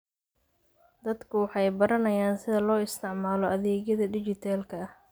Dadku waxay baranayaan sida loo isticmaalo adeegyada dhijitaalka ah.